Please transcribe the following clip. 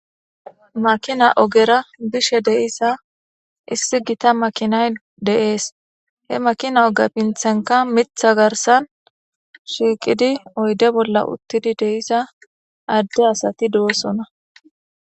Makina ogera boshe de7iza issi gita makina oge pinthankka miththa garssanshiiqidi oyde bolla utti diza adde asati doosona.